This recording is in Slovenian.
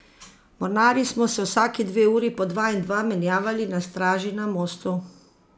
Mornarji smo se vsaki dve uri po dva in dva menjavali na straži na mostu.